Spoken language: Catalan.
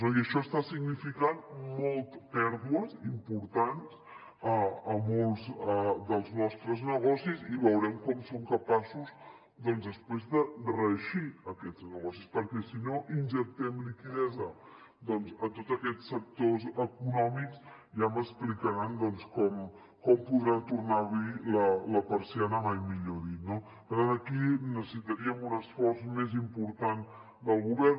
i això està significant pèrdues importants a molts dels nostres negocis i veurem com som capaços després de reeixir aquests negocis perquè si no injectem liquiditat doncs en tots aquests sectors econòmics ja m’explicaran com podran tornar a obrir la persiana mai millor dit no per tant aquí necessitaríem un esforç més important del govern